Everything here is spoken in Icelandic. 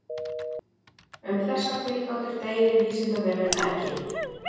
Um þessar tilgátur deilir Vísindavefurinn ekki.